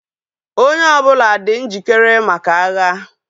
Onye ọbụla dị njikere maka agha